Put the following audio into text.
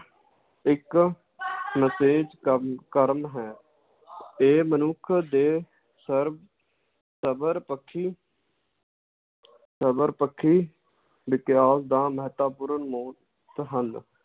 ਇਕ ਕੰਮ ਕਰਮ ਹੈ ਇਹ ਮਨੁੱਖ ਦੇ ਸਰ~ ਸਬਰ ਪੱਖੀ ਸਬਰ ਪੱਖੀ ਵਿਕਾਸ ਦਾ ਮਹੱਤਵਪੂਰਨ ਹਨ l